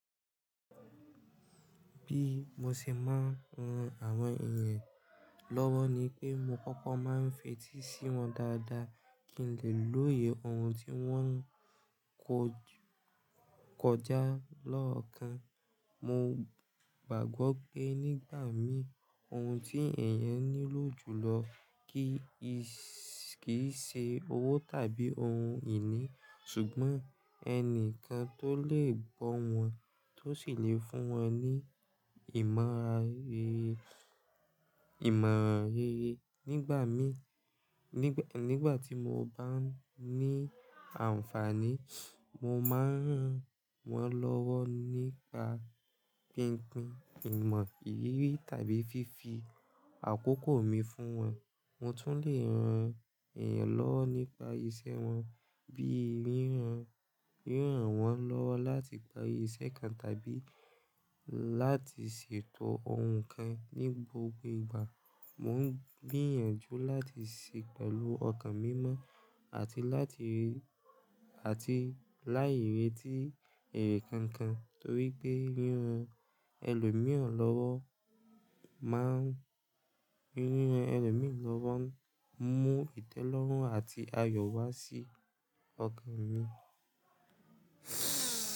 Bí mo ṣe máa ń ran àwọn èèyàn lọ́wọ́ ni pé mo kọ́kọ́ máa ń fetí sí wọn dáadáa kí n lè lóye ohun tí wọ́n ń kọjá lọ́ọ̀kan. Mo gbàgbọ́ pé nígbà mí, ohun tí èèyàn nílò jùlọ kì í ṣe owó tàbí ohun ìní, ṣùgbọ́n ẹnìkan tó lè gbọ́ wọn tó sì lè fún wọn ní ìmọ̀ràn rere nigba mi. Nígbà tí mo bá ní àǹfààní, mo máa ń ràn wọ́n lọ́wọ́ nípa pínpín ìmọ̀ ìrírí tàbí fi fi àkókò mi fún wọn. Mo tún lè ran èèyàn lọ́wọ́ nípa iṣẹ́ wọn bí i ríran wọ́n lọ́wọ́ láti parí iṣẹ́ kan tàbí láti ṣètò ohun kan. Ní gbogbo ìgbà, mò ń gbìyànjú láti ṣe pẹ̀lú ọkàn mímọ́ àti láì retí èrè kankan torí pé ríran ẹlòmíràn lọ́wọ́ máa ń mú ìtẹ́lọ́rùn àti ayọ̀ wá sí ọkàn mi.